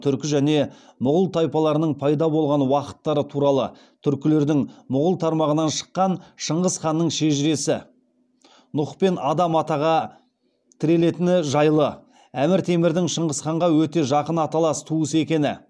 түркі және мұғул тайпаларының пайда болған уақыттары туралы түркілердің мұғул тармағынан шыққан шыңғыс ханның шежіресі нұх пен адам атаға тірелетіні жайлы әмір темірдің шыңғыс ханға өте жақын аталас туыс екені